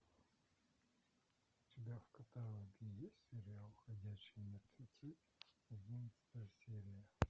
у тебя в каталоге есть сериал ходячие мертвецы одиннадцатая серия